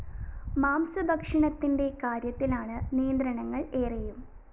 മാംസ ഭക്ഷണത്തിന്റെ കാര്യത്തിലാണ് നിയന്ത്രണങ്ങള്‍ ഏറെയും